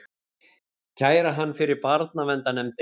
Kæra hann fyrir barnaverndarnefndinni!